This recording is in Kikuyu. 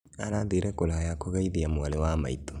Arathire kũraya kũgeithia mwarĩ wa maitũ